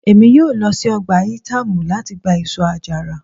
Emi yoo lọ si ọja Itamu lati gba eso-ajara